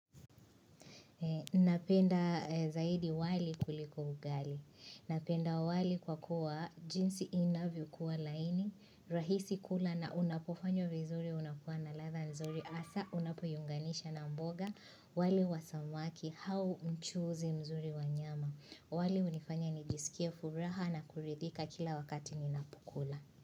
Napenda zaidi wali kuliko ugali. Napenda wali kwa kuwa jinsi inavyo kuwa laini, rahisi kula na unapofanywa vizuri unakuwa na ladha nzuri hasa unapoiunganisha na mboga. Wali wa samaki au mchuuzi mzuri wa nyama. Wali hunifanya nijisikie furaha na kuridhika kila wakati ninapokula.